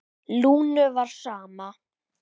Lúnu var sama.